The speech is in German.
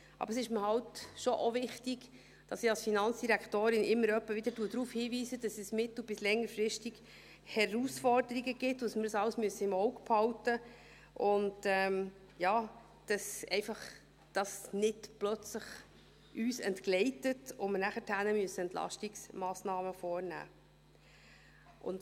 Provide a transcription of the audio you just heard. Aber es ist mir eben schon auch wichtig, dass ich als Finanzdirektorin immer etwa wieder darauf hinweise, dass es mittel- bis längerfristig Herausforderungen gibt, und wir das alles im Auge behalten müssen, und dass und das einfach nicht plötzlich entgleitet und wir danach Entlastungsmassnahmen vornehmen müssen.